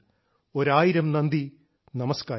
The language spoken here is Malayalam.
ഒരായിരം നന്ദി നമസ്കാരം